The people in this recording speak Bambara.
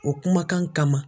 O kumakan kama.